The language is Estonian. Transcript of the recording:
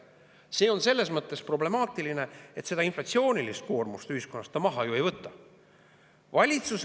See on selles mõttes problemaatiline, et inflatsioonilist koormust see ühiskonnas maha ei võta.